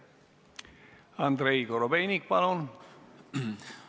Andrei Korobeinik, palun!